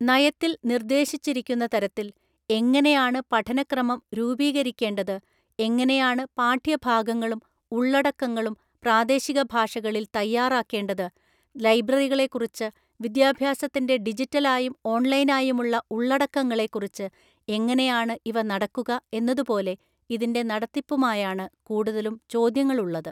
നയത്തില്‍ നിര്‍ദ്ദേശിച്ചിരിക്കുന്ന തരത്തില്‍ എങ്ങനെയാണ് പഠനക്രമം രൂപീകരിക്കേണ്ടത്, എങ്ങനെയാണ് പാഠ്യഭാഗങ്ങളും ഉള്ളടക്കങ്ങളും പ്രാദേശിക ഭാഷകളിൽ തയ്യാറാക്കേണ്ടത് , ലൈബ്രറികളെക്കുറിച്ച്, വിദ്യാഭ്യാസത്തിന്റെ ഡിജിറ്റലായും ഓൺലൈനായുമുള്ള ഉള്ളടക്കങ്ങളെ കുറിച്ച്, എങ്ങനെയാണ് ഇവ നടക്കുക, എന്നതുപോലെ ഇതിന്റെ നടത്തിപ്പുമായാണ് കൂടുതലും ചോദ്യങ്ങളുള്ളത്.